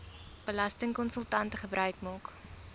belastingkonsultante gebruik maak